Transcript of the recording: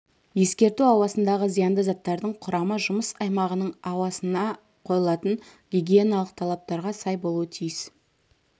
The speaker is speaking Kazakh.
ескерту ауасындағы зиянды заттардың құрамы жұмыс аймағының ауасына қойылатын гигиеналық талаптарға сай болуы тиіс